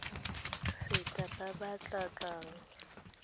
feta ba ba tla tlang